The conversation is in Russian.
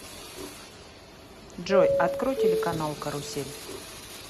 джой открой телеканал карусель